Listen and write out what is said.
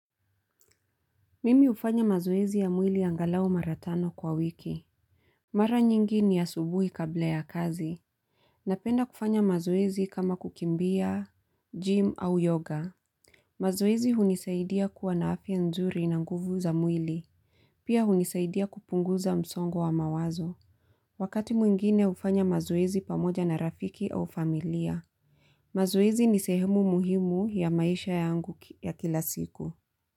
Mimi hufanya mazoezi ya mwili angalau mara tano kwa wiki. Mara nyingi ni asubuhi kabla ya kazi. Napenda kufanya mazoezi kama kukimbia, gym au yoga. Mazoezi hunisaidia kuwa na afya nzuri na nguvu za mwili. Pia hunisaidia kupunguza msongo wa mawazo. Wakati mwingine hufanya mazoezi pamoja na rafiki au familia. Mazoezi ni sehemu muhimu ya maisha yangu ya kila siku.